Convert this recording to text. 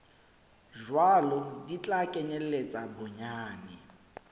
jwalo di tla kenyeletsa bonyane